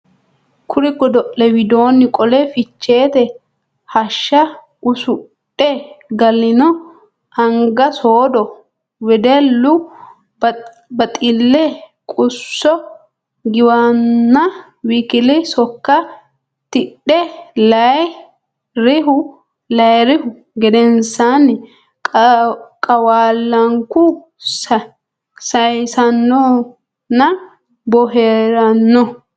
Kuri godo le widoonni qole Ficheete hashsha usudhe galino anga soodo wedellu baxille qusso giwanna w k l sokka tidhe layi rihu gedensaanni Qawaallanku saysannonna boohaaranno.